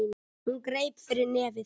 Hún greip fyrir nefið.